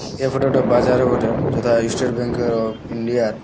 এই ফটো টা বাজারও বটে যেটা state bank uh of India.